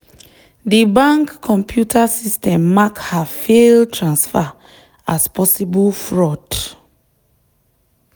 the bank computer system mark her failed transfer as possible fraud.